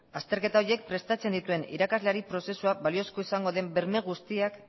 azterketa horiek prestatzen dituen irakasleari prozesua baliozkoa izango den berme guztiak